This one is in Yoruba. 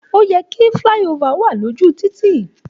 Òyẹ ki filàyíòfà wà lójú títì.